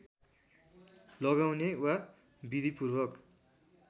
लगाउने वा विधिपूर्वक